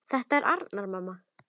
Þetta er Arnar, mamma!